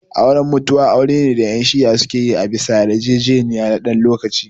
Auren mutu'a aure ne da yan shi'ah suke yi a bisa yar jejeniya na dan lokacin